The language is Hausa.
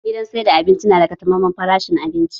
Gidan sayar da abinci na da taƙamaiman farashi abinci